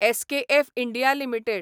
SKF India limited